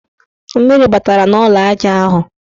Mmiri batara n' ụlọaja ahụ.